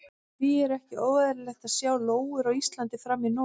Því er ekki óeðlilegt að sjá lóur á Íslandi fram í nóvember.